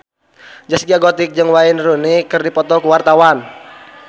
Zaskia Gotik jeung Wayne Rooney keur dipoto ku wartawan